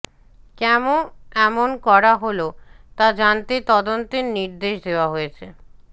কেন এমন করা হল তা জানতে তদন্তের নির্দেশ দেওয়া হয়েছে